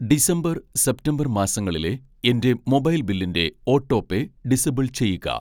December, September മാസങ്ങളിലെ എൻ്റെ mobile ബില്ലിൻ്റെ ഓട്ടോപേ ഡിസബിൾ ചെയ്യുക